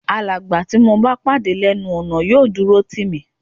Alàgbà tí mo bá pàdé lẹ́nu ọ̀nà yóò dúró tì mí